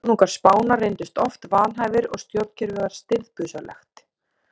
Konungar Spánar reyndust oft vanhæfir og stjórnkerfið var stirðbusalegt.